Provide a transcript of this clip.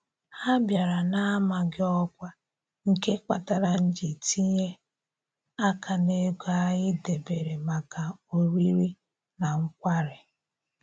Ha bịara na-amaghị ọkwa, nke kpatara m ji tinye aka n'ego anyị debere maka oriri na nkwari